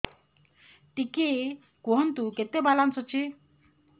ଟିକେ କୁହନ୍ତୁ କେତେ ବାଲାନ୍ସ ଅଛି